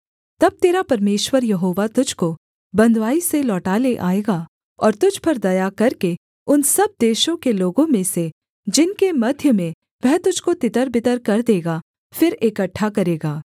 तब तेरा परमेश्वर यहोवा तुझको बँधुआई से लौटा ले आएगा और तुझ पर दया करके उन सब देशों के लोगों में से जिनके मध्य में वह तुझको तितरबितर कर देगा फिर इकट्ठा करेगा